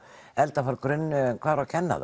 elda frá grunni en hvar á að kenna